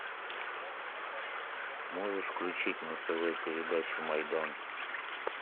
можешь включить на тв передачу майдан